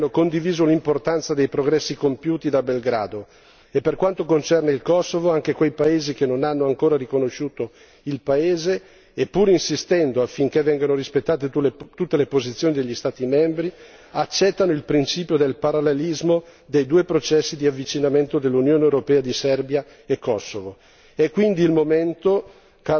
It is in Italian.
Tutti i ventotto paesi dell'Unione europea hanno riconosciuto l'importanza dei progressi compiuti da Belgrado e, per quanto concerne il Kosovo, anche quei paesi che non hanno ancora riconosciuto il paese, pur insistendo affinché vengano rispettate tutte le posizioni degli Stati membri, accettano il principio del parallelismo dei due processi di avvicinamento all'Unione europea di Serbia e Kosovo.